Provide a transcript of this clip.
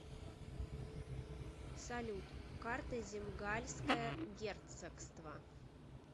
салют карта земгальское герцогство